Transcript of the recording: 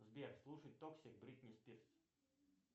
сбер слушать токсик бритни спирс